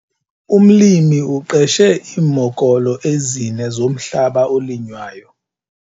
Umlimi uqeshe iimokolo ezine zomhlaba olinywayo.